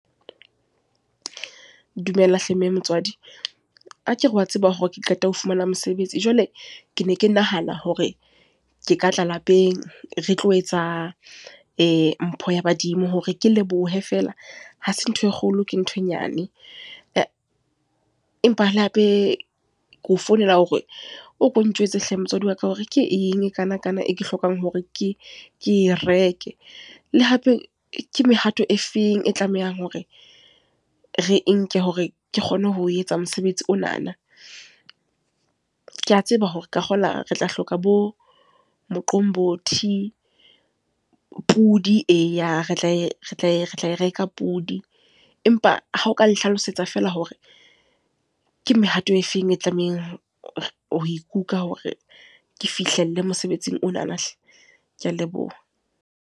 Dumela hle mme motswadi. Akere wa tseba hore ke qeta ho fumana mosebetsi. Jwale, ke ne ke nahana hore ke ka tla lapeng. Re tlo etsa mpho ya badimo. Hore ke lebohe feela. Hase ntho e kgolo ke ntho e nyane. Empa le hape ke o founela hore o ko ntjwetse hle motswadi wa ka hore ke eng e kana kana e ke hlokang hore ke ke reke? Le hape, ke mehato e feng e tlamehang hore re nke hore ke kgone ho etsa mosebetsi onana? Ke a tseba hore ka kgola re tla hloka bo Moqombothi, pudi eya re tla e re tle re tla reka pudi. Empa ha o ka nhlalosetsa fela hore, ke mehato e feng e tlamehang ho ikutlwa hore ke fihlelle mosebetsing onana hle. Ke a leboha.